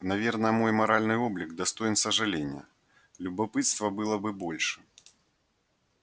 наверное мой моральный облик достоин сожаления любопытства было бы больше